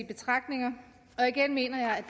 betragtninger og igen mener jeg